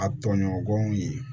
A tɔɲɔgɔnw ye